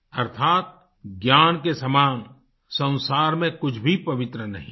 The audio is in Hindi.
अर्थात ज्ञान के समान संसार में कुछ भी पवित्र नहीं हैं